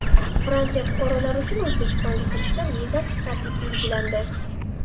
Fransiya fuqarolari uchun O‘zbekistonga kirishda vizasiz tartib belgilandi.